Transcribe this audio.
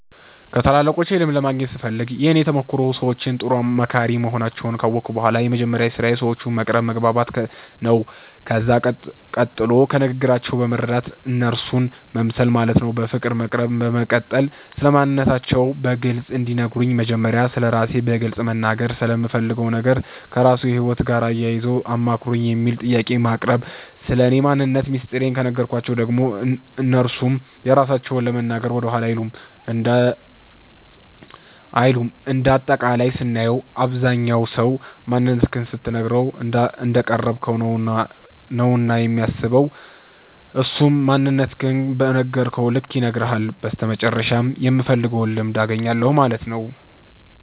ከታላላቆቼ ልምድን ለማግኘት ስፈልግ የእኔ ተሞክሮ ሰዎቹ ጥሩ መካሪ መሆናቸዉን ካወቅሁ በኋላ የመጀመሪያዉ ስራዬ ሰዎቹን መቅረብ መግባባት ነዉ ከዛ ቀጥሎ ከንግግራቸዉ በመረዳት እነርሱ መምሰል ማለትም በፍቅር መቅረብ በመቀጠል ስለማንነታቸዉ በግልፅ እንዲነግሩን መጀመሪያ ስለራሴ በግልፅ መናገርና ስለምፈልገዉ ነገር ከራስዎ ህይወት ጋር አያይዘዉ አማክሩኝ የሚል ጥያቄን ማቅረብ ስለኔ ማንነት ሚስጥሬን ከነገርኳቸዉ ደግሞ እነርሱም የራሳቸዉን ለመናገር ወደኋላ አይሉም እንደ አጠቃላይም ስናየዉ አብዛኝ ሰዉ ማንነትክን ስትነግረዉ እንዳቀረብከዉ ነዉና የሚሰማዉ እሱም ማንነቱን በነገርከዉ ልክ ይነግርሀል በመጨረሻም የምፈልገዉን ልምድ አገኛለሁ ማለት ነዉ።